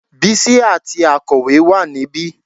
Bísí àti akọ̀wé wà níbí